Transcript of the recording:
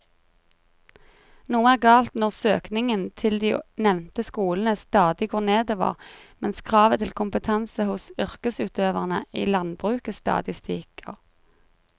Noe er galt når søkningen til de nevnte skolene stadig går nedover mens kravet til kompetanse hos yrkesutøverne i landbruket stadig stiger.